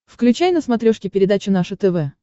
включай на смотрешке передачу наше тв